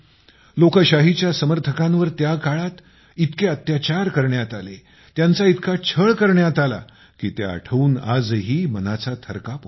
लोकशाहीच्या समर्थकांवर त्या काळात इतके अत्याचार करण्यात आले त्यांचा इतका छळ करण्यात आला की ते आठवून आजही मनाचा थरकाप होतो